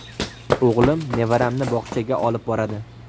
O‘g‘lim nevaramni bog‘chaga olib boradi.